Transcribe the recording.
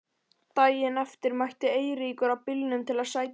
Daginn eftir mætti Eiríkur á bílnum til að sækja mig.